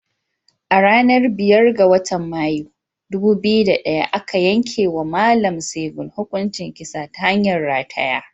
A ranar biyar ga watan Mayu, ɗubu biyu da ɗaya aka yankewa Mallam Segun hukuncin kisa ta hanyar rataya.